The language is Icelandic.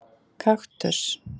Kaktus